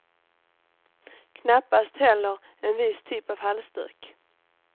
Knappast heller en viss typ av halsduk.